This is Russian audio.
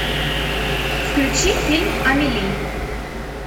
включи фильм амели